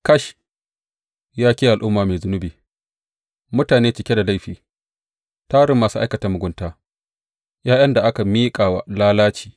Kash, ya ke al’umma mai zunubi, mutane cike da laifi, tarin masu aikata mugunta, ’ya’yan da aka miƙa wa lalaci!